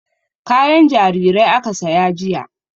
Kayan jarirai aka saya jiya.